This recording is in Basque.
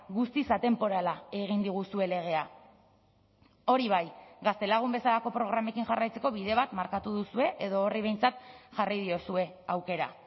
guztiz atenporala egin diguzue legea hori bai gaztelagun bezalako programekin jarraitzeko bide bat markatu duzue edo horri behintzat jarri diozue aukera